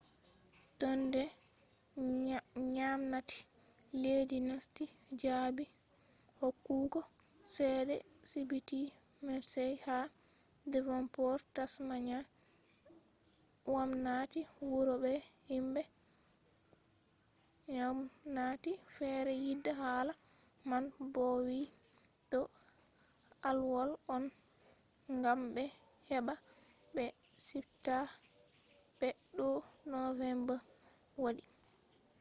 tun de gwamnati leddi nasti jabi hokkugo chede sibiti mersey ha devonport tasmania gwamnati wuro be himbe gwamnati fere yida hala man bo vi do alwol on gam be heba be subta be to november wadi